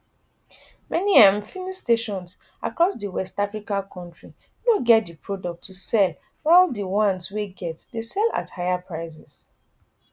many um filling stations across di west african kontri no get di product to sell while di ones wey get dey sell at higher prices